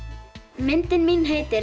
myndin mín heitir